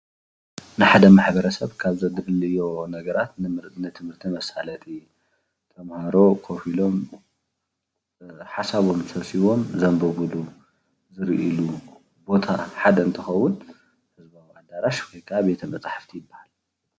ናይ ሓደ ማሕበረሰብ ካብ ዘድልዎ ነገራት ንትምህርቲ መሣለጢ። ተምሃሮ ኮፍ ኢሎም ሓሳቦም ሰብሲቦም ዘምብብሉ ዝርእይሉ ሓድ ቦታ እንትከውን ኣዳራሽ ወ ክዓ ቤተ መጽሓፍቲ ያበሃል።